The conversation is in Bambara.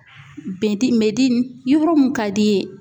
Bɛn ti medini, yɔrɔ mun ka d'i ye.